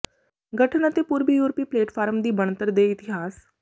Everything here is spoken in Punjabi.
ਗਠਨ ਅਤੇ ਪੂਰਬੀ ਯੂਰਪੀ ਪਲੇਟਫਾਰਮ ਦੀ ਬਣਤਰ ਦੇ ਇਤਿਹਾਸ